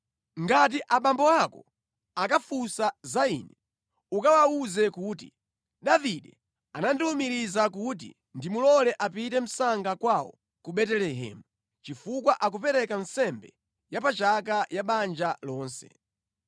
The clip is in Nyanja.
Ngati abambo ako akafunsa za ine, ukawawuze kuti, ‘Davide anandiwumiriza kuti ndimulole apite msanga kwawo ku Betelehemu, chifukwa akupereka nsembe yapachaka ya banja lonse.’